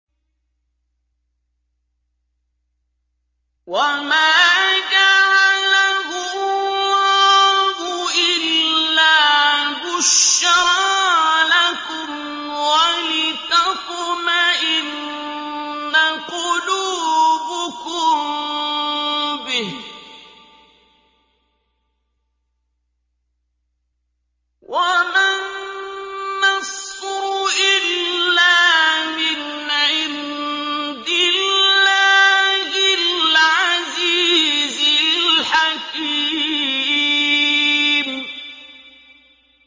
وَمَا جَعَلَهُ اللَّهُ إِلَّا بُشْرَىٰ لَكُمْ وَلِتَطْمَئِنَّ قُلُوبُكُم بِهِ ۗ وَمَا النَّصْرُ إِلَّا مِنْ عِندِ اللَّهِ الْعَزِيزِ الْحَكِيمِ